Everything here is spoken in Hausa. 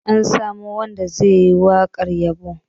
An samo wanda ze yi waƙar yabon